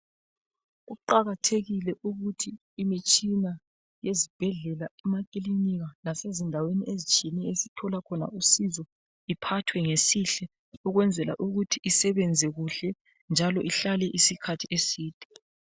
Kuqakathekile kakhulu ukuthi imitshina yesibhedlela, emakilinika lasezindaweni ezitshiyeneyo esithola khona usizo, iphathwe ngesihle ukwenzela ukuthi isebenze kuhle njalo ihlale isikhathi eside.